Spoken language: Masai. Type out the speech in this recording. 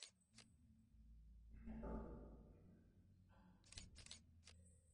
ore nena namba nikitooshokito esimu neme nena benki ,lapurok lelo